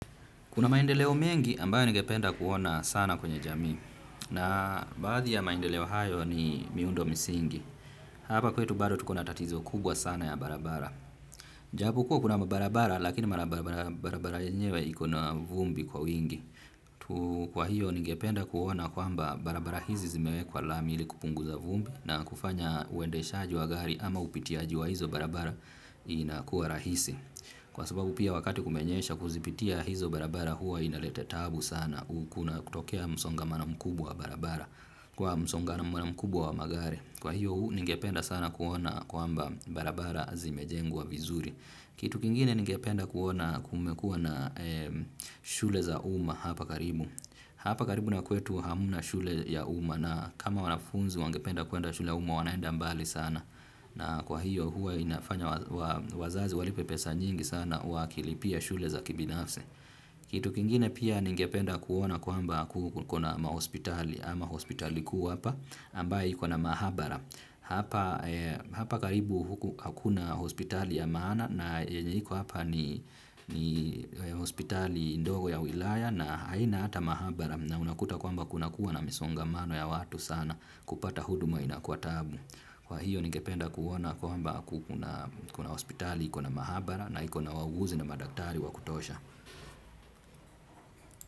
Kuna maendeleo mengi ambayo ningependa kuona sana kwenye jamii na baadhi ya maendeleo hayo ni miundo misingi. Hapa kwetu bado tuko na tatizo kubwa sana ya barabara. Japu kuwa kuna mabarabara lakini mabarabara yenyewe iko na vumbi kwa wingi. Kwa hiyo ningependa kuona kwamba barabara hizi zimewekwa lami ili kupunguza vumbi na kufanya uendeshaji wa gari ama upitiaji wa hizo barabara inakuwa rahisi. Kwa sababu pia wakati kumenyesha kuzipitia hizo barabara huwa inalete tabu sana. U kuna kutokea msongamano mkubwa barabara. Kwa msongamano mkubwa wa magari kwa hiyo huu ningependa sana kuona kwamba barabara zimejengwa vizuri. Kitu kingine ningependa kuona kumekuwa na shule za umma hapa karibu. Hapa karibu na kwetu hamna shule ya uma na kama wanafunzi wangependa kwenda shule za uma wanaenda mbali sana. Na kwa hiyo huwa inafanya wazazi walipe pesa nyingi sana wakilipia shule za kibinafsi. Kitu kingine pia ningependa kuona kwamba kuna mahospitali ama hospitali kuu hapa ambayo iko na mahabara hapa. Hapa karibu huku hakuna hospitali ya maana na yenye iko hapa ni hospitali ndogo ya wilaya na haina hata mahabara na unakuta kwamba kunakuwa na misongamano ya watu sana kupata huduma inakuwa tabu. Kwa hiyo ningependa kuona kwamba kuna hospitali iko na mahabara na iko na wauguzi na madaktari wa kutosha.